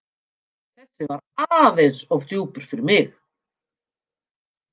Þessi var aðeins of djúpur fyrir mig.